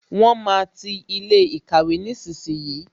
Wọn máa ti ilé ìkàwé nísinsìnyí